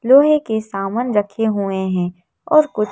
लोहे के सामान रखे हुए हैं और कुछ --